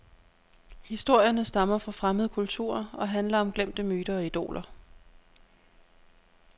Historierne stammer fra fremmede kulturer og handler om glemte myter og idoler.